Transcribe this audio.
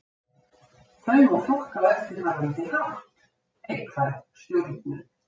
Þau má flokka á eftirfarandi hátt: Neikvæð stjórnun.